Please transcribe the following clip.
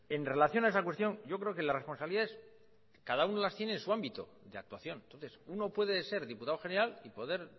en relación a esa cuestión yo creo que las responsabilidades cada uno las tiene en su ámbito de actuación entonces uno puede ser diputado general y poder